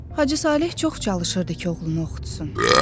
Hacı Saleh çox çalışırdı ki, oğlunu oxutsun.